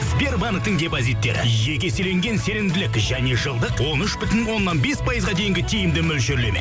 сбербанктің депозиттері екі еселенген сенімділік және жылдық он үш бүтін оннан бес пайызға дейінгі тиімді мөлшерлеме